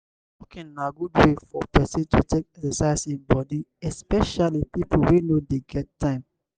walking na good wey for person to take exercise im body especially pipo wey no dey get time